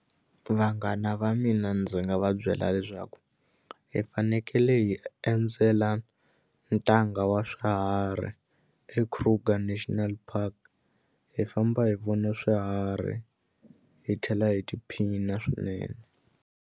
Vanghana va mina ndzi nga va byela leswaku hi fanekele hi endzela ntanga wa swiharhi eKruger National Park hi famba hi vona swiharhi hi tlhela hi tiphina swinene.